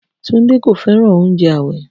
Tunde kò fẹ́ràn oúnjẹ ààwẹ̀